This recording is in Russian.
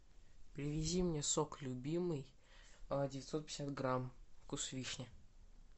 привези мне сок любимый девятьсот пятьдесят грамм вкус вишни